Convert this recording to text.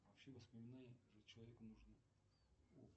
вообще воспоминания человеку нужны